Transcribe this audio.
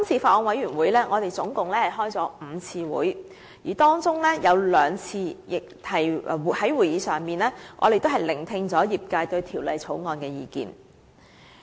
法案委員會共舉行了5次會議，在當中兩次的會議席上，我們聆聽了業界對《條例草案》的意見。